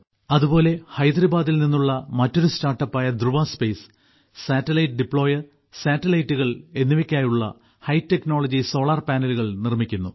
അതുപോലെ ഹൈദരാബാദിൽ നിന്നുള്ള മറ്റൊരു സ്റ്റാർട്ടപ്പായ ധ്രുവ സ്പേസ് സാറ്റലൈറ്റ് ഡിപ്ലോയർ സാറ്റലൈറ്റുകൾ എന്നിവയ്ക്കായുള്ള ഹൈടെക്നോളജി സോളാർ പാനലുകൾ നിർമ്മിക്കുന്നു